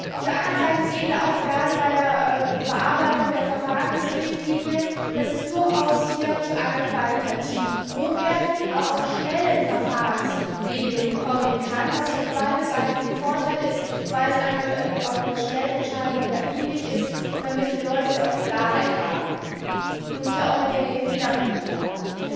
Auf der anderen Seite sehen wir aber auch gerade bei der Überarbeitung der Verfahrensrichtlinie, dass es hier durchaus zu einer qualitativ hochwertigen, aber auch schnellen Verfahrensregelung kommen kann, was für beide Seiten von Vorteil ist, weil es einer schnellen Entscheidung dienlich ist, damit die Leute Klarheit und hier auch eine geringe Fehlerquote haben.